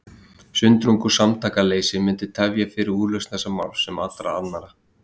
Sundrung og samtakaleysi myndi tefja fyrir úrlausn þessa máls, sem allra annara.